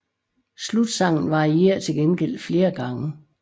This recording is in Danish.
Slutsangen varierer til gengæld flere gange